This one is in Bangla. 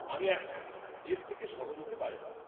আমি একমত! এর থেকে সহজ হতে পারেনা।